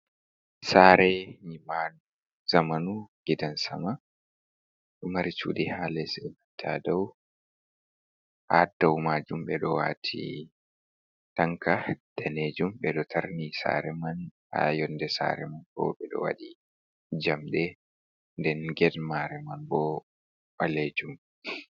Sare nyiɓaɗum zamanu gidan sama, ɗo mari cuɗi ha les e'manta dow, ha dau majum ɓe ɗo wati tanka danejum, ɓe ɗo tarni sare man, ha younde sare man bo ɓe ɗo waɗi njamde den get mare man bo balejum.